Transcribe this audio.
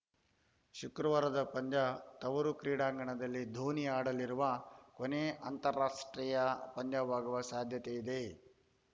ಶುಕ್ರವಾರದ ಪಂದ್ಯ ತವರು ಕ್ರೀಡಾಂಗಣದಲ್ಲಿ ಧೋನಿ ಆಡಲಿರುವ ಕೊನೆ ಅಂತಾರಾಷ್ಟ್ರೀಯ ಪಂದ್ಯವಾಗುವ ಸಾಧ್ಯತೆ ಇದೆ